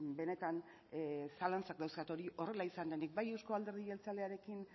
benetan zalantzak dauzkat hori horrela izan denik bai eusko alderdi jeltzalearekin